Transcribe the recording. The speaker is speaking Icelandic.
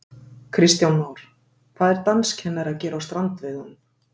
Kristján Már: Hvað er danskennari að gera á strandveiðunum?